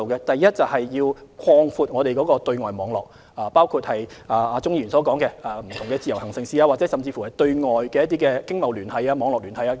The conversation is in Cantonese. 第一，擴闊本港的對外網絡，包括鍾議員所說的開放不同的自由行城市，甚至擴闊對外經貿網絡。